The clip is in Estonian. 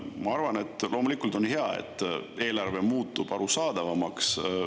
Ma arvan, et loomulikult on hea, et eelarve muutub arusaadavamaks.